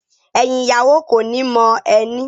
Ẹyin ìyàwó koni mo ẹni.